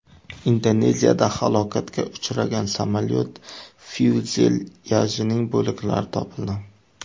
Indoneziyada halokatga uchragan samolyot fyuzelyajining bo‘laklari topildi.